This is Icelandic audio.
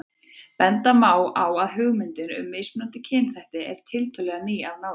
Benda má á að hugmyndin um mismunandi kynþætti er tiltölulega ný af nálinni.